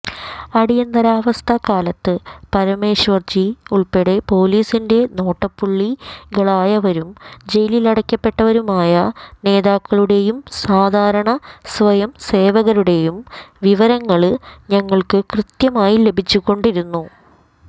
അടിയന്തരാവസ്ഥ കാലത്ത് പരമേശ്വര്ജി ഉള്പ്പെടെ പോലീസിന്റെ നോട്ടപ്പുള്ളികളായവരും ജയിലിലടയ്ക്കപ്പെട്ടവരുമായ നേതാക്കളുടെയും സാധാരണ സ്വയംസേവകരുടെയും വിവരങ്ങള് ഞങ്ങള്ക്ക് കൃത്യമായി ലഭിച്ചുകൊണ്ടിരുന്നു